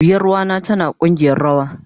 Yaruwa na tana kugiyar rawa